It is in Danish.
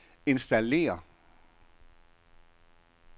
installér